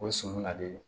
O sɔmi ka di